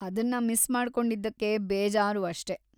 ಅದನ್ನ ಮಿಸ್‌ ಮಾಡ್ಕೊಂಡಿದ್ದಕ್ಕೆ ಬೇಜಾರು ಅಷ್ಟೇ.